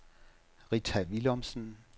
Rita Willumsen